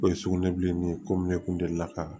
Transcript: O ye sugunɛ bilennin ye komi ne kun delila ka